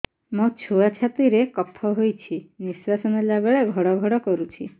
ମୋ ଛୁଆ ଛାତି ରେ କଫ ହୋଇଛି ନିଶ୍ୱାସ ନେଲା ବେଳେ ଘଡ ଘଡ କରୁଛି